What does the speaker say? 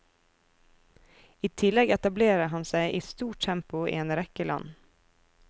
I tillegg etablerer han seg i stort tempo i en rekke land.